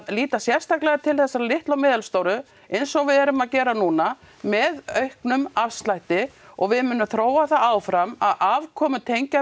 líta sérstaklega til þessara litlu og meðalstóru eins og við erum að gera núna með auknum afslætti og við munum þróa það áfram að afkomutengja